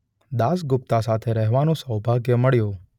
દાસગુપ્તા સાથે રહેવાનું સૌભાગ્ય મળ્યું